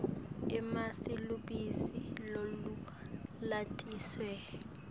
emasi lubisi lolulatisiwe